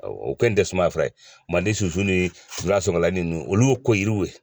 O kɛni tɛ sumayafura ye manden sunsun ni sulasonkala ninnu olu ye koyiriw ye.